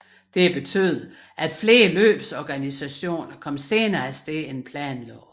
Dette betød at flere løbsorganisationen kom senere afsted end planlagt